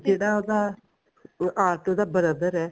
ਜਿਹੜਾ ਉਹਦਾ ਆਟੋ ਦਾ brother ਐ